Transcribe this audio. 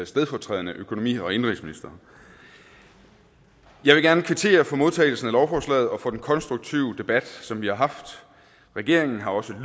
stedfortrædende økonomi og indenrigsminister jeg vil gerne kvittere for modtagelsen af lovforslaget og for den konstruktive debat som vi har haft regeringen har også